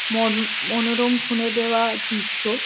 মন মনোরম খুনে দেওয়া দৃশ্য।